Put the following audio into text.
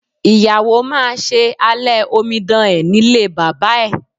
Ìyàwó máa ṣe alẹ́ omidan ẹ̀ nílé bàbá ẹ̀.